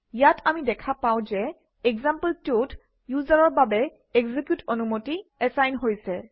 ইয়াত আমি দেখা পাওঁ যে example2 ত ইউজাৰৰ বাবে এক্সিকিউট অনুমতি এচাইন হৈছে